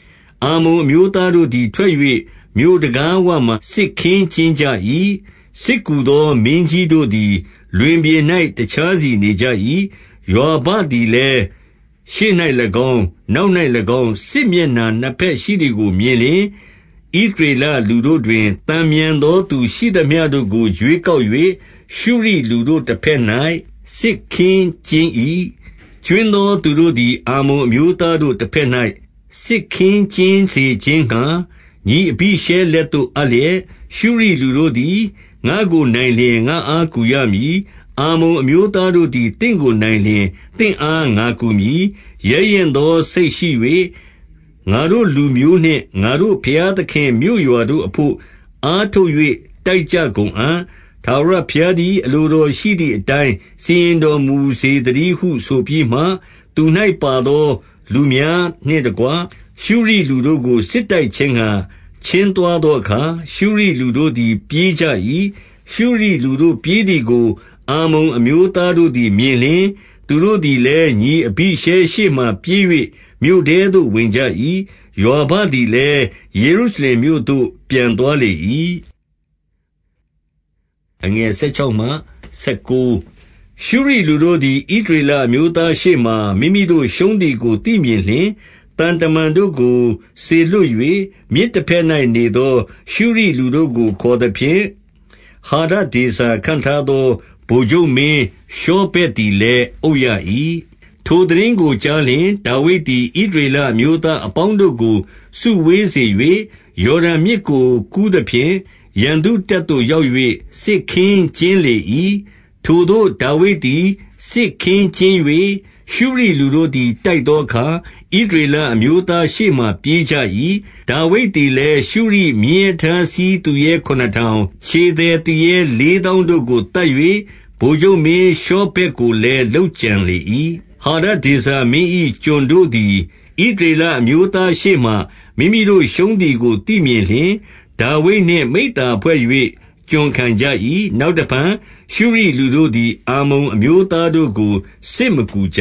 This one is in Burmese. ။ အမ္မုန်အမျိုးသားတို့သည် ထွက်၍မြို့တံခါးဝမှာ စစ်ခင်းကျင်းကြ၏။ စစ်ကူသော မင်းကြီးတို့သည် လွင်ပြင်၌ တခြားစီနေကြ၏။ ယွာဘသည်လည်းရှေ့၌၎င်း၊ နောက်၌၎င်း၊ စစ်မျက်နှာနှစ်ဘက်ရှိသည်ကိုမြင်လျှင်၊ ဣသရေလလူတို့ တွင် သန်မြန်သောသူရှိသမျှတို့ကို ရွေးကောက်၍ ရှုရိလူ တို့တဘက်၌ စစ်ခင်းကျင်း၏။ ကြွင်းသောသူတို့ကို အမ္မုန်အမျိုးသားတို့ တဘက်၌ စစ်ခင်းကျင်းစေခြင်းငှါ ညီအဘိရှဲလက်သို့ အပ်လျက်၊ ရှုရိလူတို့သည် ငါ့ကိုနိုင်လျှင် ငါ့အားကူရမည်။ အမ္မုန်အမျိုးသားတို့သည် သင့်ကိုနိုင်လျှင် သင့်အား ငါကူမည်။ ရဲရင့်သော စိတ်ရှိ၍ ငါတို့လူမျိုးနှင့် ငါတို့ ဘုရား သခင့်မြို့ရွာတို့အဘို့ အားထုတ်၍ တိုက်ကြကုန်အံ့။ ထာဝရဘုရားသည် အလိုတော်ရှိသည်အတိုင်း စီရင် တော်မူစေသတည်းဟုဆိုပြီးမှ၊ သူ၌ပါသောလူများနှင့်တကွ၊ ရှုရိလူတို့ကို စစ်တိုက်ခြင်းငှါ ချဉ်းသွားသောအခါ၊ ရှုရိလူတို့သည် ပြေးကြ၏။ ရှုရိလူတို့ပြေးသည်ကို အမ္မုန်အမျိုးသားတို့သည် မြင်လျှင်၊ သူတို့သည်လည်း ညီအဘိရှဲရှေ့မှာပြေး၍ မြို့ထဲသို့ဝင်ကြ၏။ ယွာဘသည်လည်း ယေရုရှလင်မြို့သို့ ပြန်သွားလေ၏။ ရှုရိလူတို့သည် ဣသရေလအမျိုးသားရှေ့မှာ မိမိတို့ရှုံးသည်ကို သိမြင်လျှင်၊ သံတမန်တို့ကို စေလွှတ်၍ မြစ်တဘက်၌နေသော ရှုရိလူတို့ကို ခေါ်သဖြင့်၊ ဟာဒ ဒေဇာခန့်ထားသော ဗိုလ်ချုပ်မင်းရှောဗက်သည်လည်း အုပ်ရ၏။ ထိုသိတင်းကိုကြားလျှင် ဒါဝိဒ်သည် ဣသရေလ အမျိုးသား အပေါင်းတို့ကို စုဝေးစေ၍ ယော်ဒန်မြစ်ကို ကူးသဖြင့်၊ ရန်သူတပ်သို့ရောက်၍ စစ်ခင်းကျင်းလေ၏။ ထိုသို့ဒါဝိဒ်သည် စစ်ခင်းကျင်း၍ ရှုရိလူတို့သည် တိုက် သောအခါ၊ ဣသရေလအမျိုးသားရှေ့မှာ ပြေးကြ၏။ ဒါဝိဒ် သည်လည်း ရှုရိမြင်းရထားစီးသူရဲခုနစ်ထောင်၊ ခြေသည် သူရဲလေးသောင်းတို့ကို သတ်၍ ဗိုလ်ချုပ်မင်းရှောဗက်ကို လည်း လုပ်ကြံလေ၏။ ဟာဒဒေဇာမင်း၏ ကျွန်တို့သည် ဣသရေလ အမျိုးသားရှေ့မှာ မိမိတို့ရှုံးသည်ကို သိမြင်လျှင်၊ ဒါဝိဒ်နှင့် မိဿဟာယဖွဲ့၍ ကျွန်ခံကြ၏။ နောက်တဖန် ရှုရိလူတို့ သည် အမ္မုန်အမျိုးသားတို့ကို စစ်မကူကြ